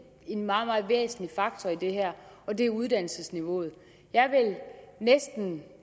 en meget meget væsentlig faktor i det her og det er uddannelsesniveauet jeg vil næsten